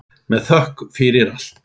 Með þökk fyrir allt.